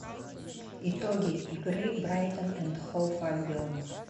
итоги игры брайтон энд хоув альбион